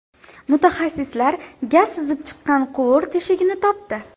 Mutaxassislar gaz sizib chiqqan quvur teshigini topdi.